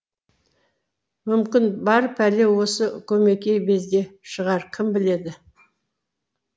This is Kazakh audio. мүмкін бар пәле осы көмекей безде шығар кім біледі